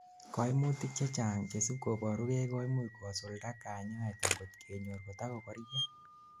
koimutik chechang chesibkoborugei koimuch kosulda kanyaet angot kenyor kotakokoria